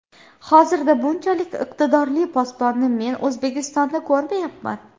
Hozirda bunchalik iqtidorli posbonni men O‘zbekistonda ko‘rmayapman.